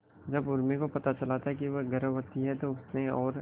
जब उर्मी को पता चला था वह गर्भवती है तो उसने और